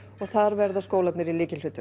þar verða skólarnir í lykilhlutverki